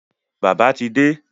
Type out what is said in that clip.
Bàbá ti de